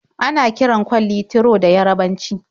Ana kiran kwalli "Tiro" da Yarabanci.